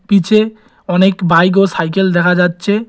পিছে অনেক বাইক ও সাইকেল দেখা যাচ্ছে।